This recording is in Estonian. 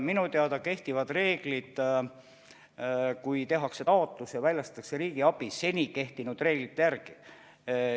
Minu teada kehtib põhimõte, et kui tehakse taotlus, siis väljastatakse riigiabi seni kehtinud reeglite järgi.